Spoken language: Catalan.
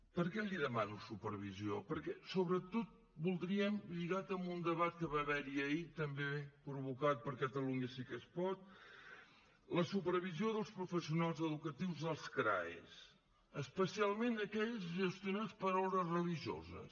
per què li demano supervisió perquè sobretot voldríem lligat amb un debat que va haver hi ahir també provocat per catalunya sí que es pot la supervisió dels professionals educatius als crae especialment aquells gestionats per ordes religiosos